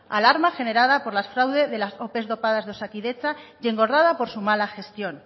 alarma generada por los fraudes de las ope dopadas de osakidetza y engordada por su mala gestión